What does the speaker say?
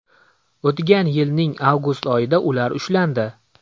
O‘tgan yilning avgust oyida ular ushlandi.